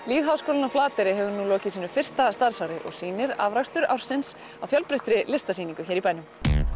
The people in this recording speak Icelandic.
lýðháskólinn á Flateyri hefur nú lokið sínu fyrsta starfsári og sýnir afrakstur ársins á fjölbreyttri listasýningu hér í bænum